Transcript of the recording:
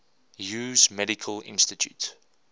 hughes medical institute